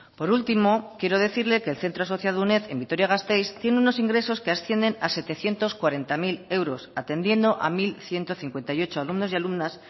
por último quiero decirle que el centro asociado a uned en vitoria gasteiz tiene unos ingresos que ascienden a setecientos cuarenta mil euros atendiendo a mil ciento cincuenta y ocho alumnos y alumnas